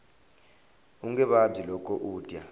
unge vabyi loko u dya